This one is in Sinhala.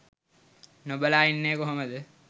නොබලා ඉන්නේ කොහොමද.